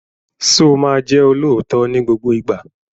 Sọ ma jẹ́ olóòótọ́ ní gbogbo ìgbà?